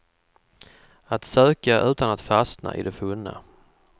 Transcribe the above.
Att söka utan att fastna i det funna.